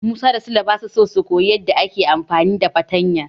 Musa da Sule basa so su koyi yadda ake amfani da fartanya.